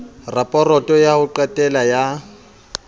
raporoto ya ho qetela ya